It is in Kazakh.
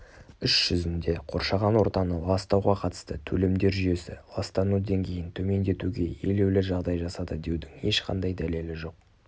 іс жүзінде қоршаған ортаны ластауға қатысты төлемдер жүйесі ластану деңгейін төмендетуге елеулі жағдай жасады деудің ешқандай дәлелі жоқ